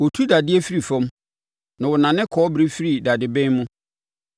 Wɔtu dadeɛ firi fam, na wɔnane kɔbere firi dadeben mu.